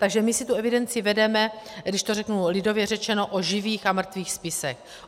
Takže my si tu evidenci vedeme, když to řeknu, lidově řečeno o živých a mrtvých spisech.